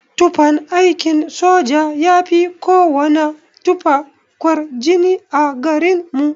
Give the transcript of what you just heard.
Tufan aikin soja yafi kowana tufa kwarjini a garin mu.